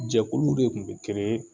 Jɛkulu de kun bɛ